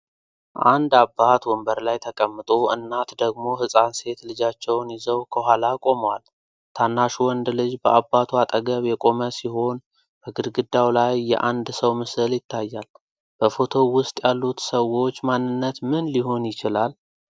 አንድ አባት ወንበር ላይ ተቀምጦ፣ እናት ደግሞ ህፃን ሴት ልጃቸውን ይዘው ከኋላ ቆመዋል። ታናሹ ወንድ ልጅ በአባቱ አጠገብ የቆመ ሲሆን፣ በግድግዳው ላይ የአንድ ሰው ምስል ይታያል። በፎቶው ውስጥ ያሉት ሰዎች ማንነት ምን ሊሆን ይችላል?